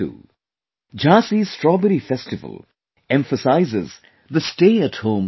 Jhansi's Strawberry festival emphasizes the 'Stay at Home' concept